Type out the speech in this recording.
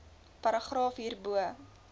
paragraaf hierbo